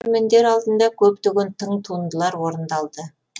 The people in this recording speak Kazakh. көрермендер алдында көптеген тың туындылар орындалды